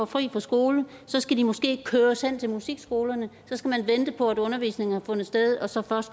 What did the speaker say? fri fra skole så skal de måske køres hen til musikskolerne så skal man vente på at undervisningen har fundet sted og så